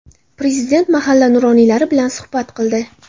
Prezident mahalla nuroniylari bilan suhbat qildi.